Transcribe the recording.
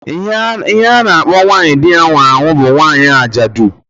Ihe a na-akpọ nwanyị di ya nwụrụ bụ nwanyị ajadụ